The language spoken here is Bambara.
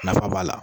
Nafa b'a la